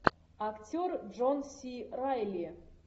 актер джон си райли